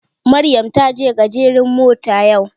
Maryam taje garejin mota yau